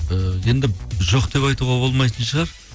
ы енді жоқ деп айтуға болмайтын шығар